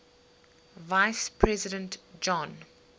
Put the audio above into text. vice president john